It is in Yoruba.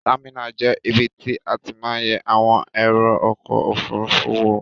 Támìnà je ibi tí a ti ma n ye àwon èrò okò ojúòfurufú wo.